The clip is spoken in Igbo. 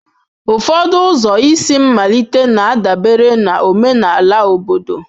Ụfọdụ ụzọ isi mmalite na-adabere na omenala obodo.